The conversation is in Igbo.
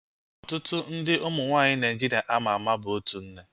Ọtụtụ ndị ụmụ nwaanyị Naịjiria ama ama bụ otu nne